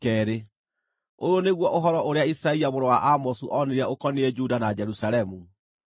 Ũyũ nĩguo ũhoro ũrĩa Isaia mũrũ wa Amozu onire ũkoniĩ Juda na Jerusalemu: